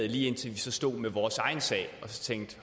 lige indtil vi så stod med vores egen sag